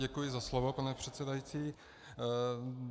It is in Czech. Děkuji za slovo, pane předsedající.